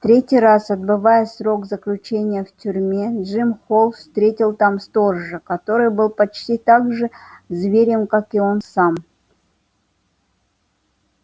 в третий раз отбывая срок заключения в тюрьме джим холл встретил там сторожа который был почти так же зверем как и он сам